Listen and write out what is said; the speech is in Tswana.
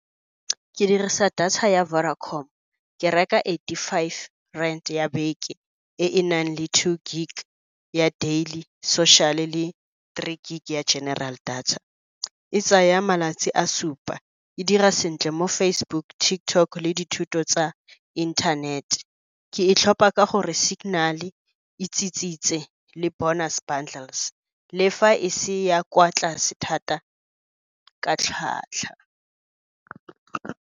Ke dirisa data ya Vodacom. Ke reka eighty-five rand ya beke, e e nang le two gig ya daily social-e le three gig ya general data. E tsaya malatsi a supa, e dira sentle mo Facebook, TikTok le dithuto tsa internet-e. Ke e tlhopha ka gore signal-e e le bonus bundles, le fa e se ya kwa tlase thata ka tlhwatlhwa.